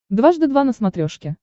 дважды два на смотрешке